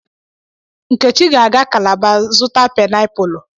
Nkechi ga-aga calaba zụta painiapulu.